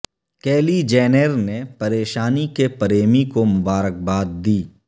کیلی Jenner نے پریشانی کے پریمی کو مبارکباد دی